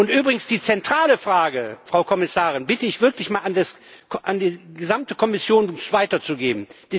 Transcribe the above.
Und übrigens, die zentrale Frage, Frau Kommissarin, bitte ich wirklich mal an die gesamte Kommission weiterzugeben.